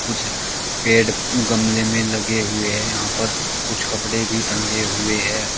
कुछ पेड़ गमले में लगे हुए हैं यहां पर कुछ कपड़े भी टंगे हुए हैं।